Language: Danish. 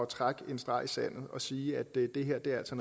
trække en streg i sandet og sige at det altså